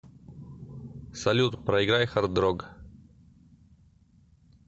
салют проиграй хардрог